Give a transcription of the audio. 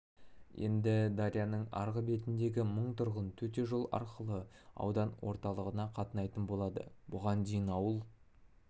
енді дарияның арғы бетіндегі мың тұрғын төте жол арқылы аудан орталығына қатынайтын болады бұған дейін ауыл